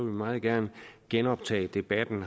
vi meget gerne genoptage debatten